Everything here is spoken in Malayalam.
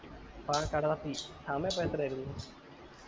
ആ കട സമയം അപ്പൊ എത്ര ആയിരുന്നു